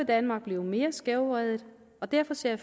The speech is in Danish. danmark blive mere skævvredet og derfor ser